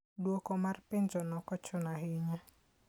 Dwoko mar penjono ok ochuno ahinya.